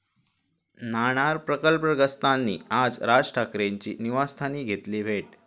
नाणार प्रकल्पग्रस्तांनी आज राज ठाकरेंची निवासस्थानी घेतली भेट